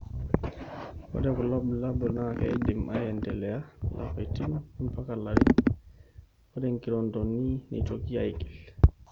Ore kulobulabul naa keidim aendelea lapaitin ompaka rarin ore nkirondoni neitoki aigil.